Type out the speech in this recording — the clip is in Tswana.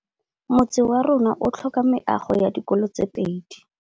Motse warona o tlhoka meago ya dikolô tse pedi.